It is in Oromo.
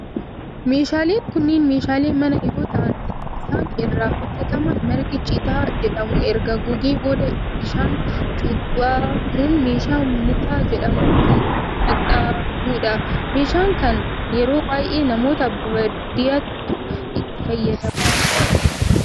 Meeshaaleen kunneen meeshaalee manaa yoo ta'aan kan isaan irraa hojjetaman margi citaa jedhamu erga gogee booda bishaan cuubamun meeshaa mutaa jedhamun kan xaxamudha. meeshaa kan yeroo baayyee namoota baadiyaatu itti fayyadama.